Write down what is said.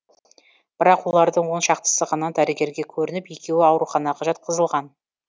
бірақ олардың оны шақтысы ғана дәрігерге көрініп екеуі ауруханаға жатқызылған